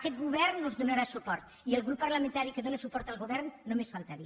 aquest govern us donarà suport i el grup parlamentari que dóna suport al govern només faltaria